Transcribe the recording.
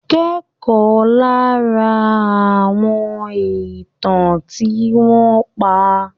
Kẹ́kọ̀ọ́ lára àwọn ìtàn tí wọ́n pa.